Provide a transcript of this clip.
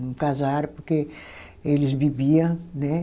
Não casaram porque eles bebia, né?